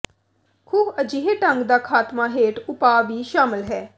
ਖੂਹ ਅਜਿਹੇ ਢੰਗ ਦਾ ਖਾਤਮਾ ਹੇਠ ਉਪਾਅ ਵੀ ਸ਼ਾਮਲ ਹੈ